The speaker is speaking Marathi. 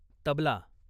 तबला